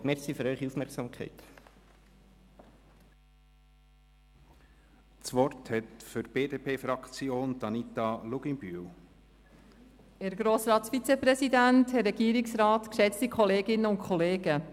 Das Aktienrecht sieht in einem Doppelmandat «Verwaltungsrat beziehungsweise Verwaltungsratspräsident und Geschäftsführung» kein Problem.